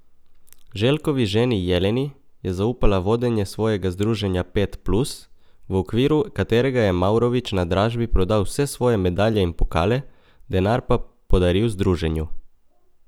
Željkovi ženi Jeleni je zaupala vodenje svojega združenja Pet plus, v okviru katerega je Mavrović na dražbi prodal vse svoje medalje in pokale, denar pa podaril združenju.